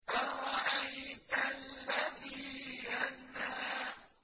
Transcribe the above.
أَرَأَيْتَ الَّذِي يَنْهَىٰ